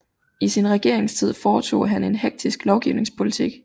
I sin regeringstid foretog han en hektisk lovgivningspolitik